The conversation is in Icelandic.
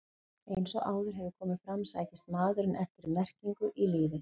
Eins og áður hefur komið fram sækist maðurinn eftir merkingu í lífið.